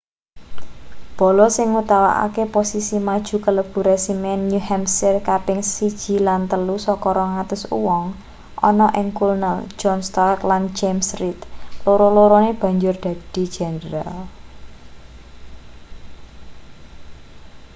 bala sing nguwatake posisi maju kalebu resimen new hampshire kaping 1 lan 3 saka 200 wong ana ing kulnel john stark lan james reed loro-lorone banjur dadi jendral